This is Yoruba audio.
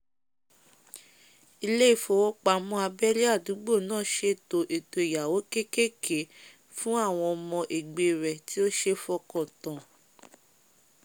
ilé ìfowópamó abélé àdúgbò ná sèto èto ìyáwó kékèké fún àwon ọmọ egbé rẹ̀ tí ó sé fokàn tán